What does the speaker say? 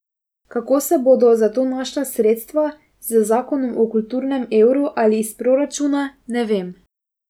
Kako se bodo za to našla sredstva, z zakonom o kulturnem evru ali iz proračuna, ne vem.